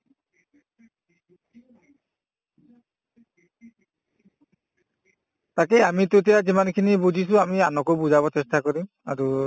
তাকে আমি তেতিয়া আমি যিমানখিনি বুজিছো আমি আনকো বুজাব চেষ্টা কৰিম আৰু